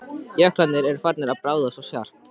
Jöklarnir eru farnir að bráðna svo skarpt.